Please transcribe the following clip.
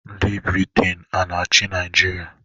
Ndị Briten a na-achị Naịjirịa?